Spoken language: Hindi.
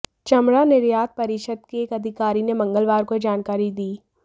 चमड़ा निर्यात परिषद के एक अधिकारी ने मंगलवार को यह जानकारी दी